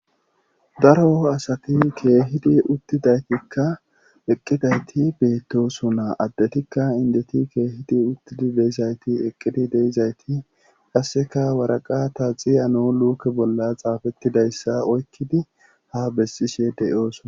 daro asati keehidi uttidaytikka eqqidayti beettosunaa addetikka indeti keehidi uttidi deizayti eqqidi deizayti qasseka waraqata xiyano luuke bolla xaafettidayssa oykkidi ha bessishe deyoosana